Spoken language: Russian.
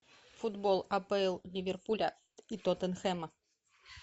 футбол апл ливерпуля и тоттенхэма